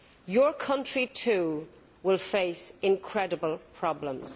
your country too will face incredible problems.